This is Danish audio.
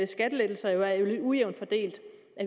skattelettelser jo er lidt ujævnt fordelt